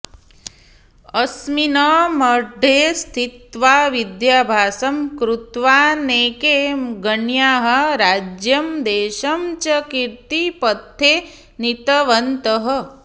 अस्मिन् मठे स्थित्वा विद्याभ्यासं कृत्वा नैके गण्याः राज्यं देशं च कीर्तिपथे नीतवन्तः